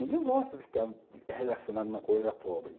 Ninguém gosta de ficar relacionado a uma coisa pobre.